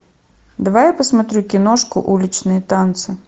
давай я посмотрю киношку уличные танцы